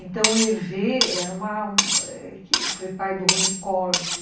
Então, o Hervé era uma foi pai do Rony Corde.